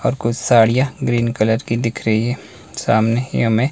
और कुछ साड़ियां ग्रीन कलर की दिख रही है सामने ही हमें--